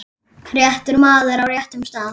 réttur maður á réttum stað.